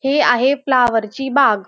हे आहे फ्लावर ची बाग.